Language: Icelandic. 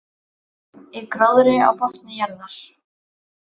Í gróðri á botni jarðar.